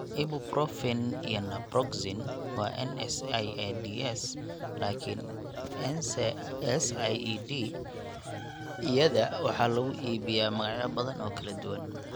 Ibuprofen iyo naproxen waa NSAIDs, laakiin NSAID-yada waxaa lagu iibiyaa magacyo badan oo kala duwan.